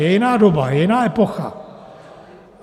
Je jiná doba, je jiná epocha.